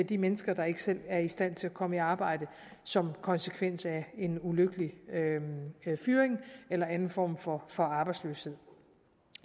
de mennesker der ikke selv er i stand til at komme i arbejde som konsekvens af en ulykkelig fyring eller anden form for for arbejdsløshed